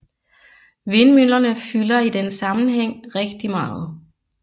Vindmøllerne fylder i den sammenhæng rigtigt meget